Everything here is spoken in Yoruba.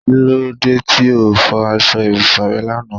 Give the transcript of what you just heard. Kí lóde tí ó fọ aṣọ ibùsùn rẹ lànà?